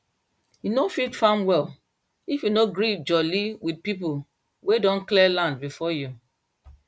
you no fit farm well if you no gree jolly with people wey don clear land before you